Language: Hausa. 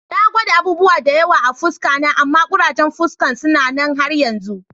Na gwada abubuwa da yawa a'fuska na amma kurajen fuskan suna nan har yanzu.